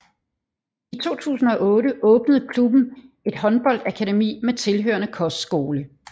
I 2008 åbnede klubben et håndboldakademi med tilhørende kostskole